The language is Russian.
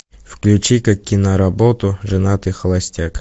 включи ка киноработу женатый холостяк